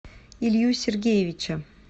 илью сергеевича